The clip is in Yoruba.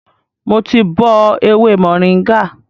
Mo ti bọ ewé mòríngà